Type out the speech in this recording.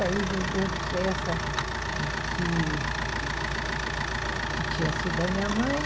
Aí vendemos essa que que tinha sido da minha mãe.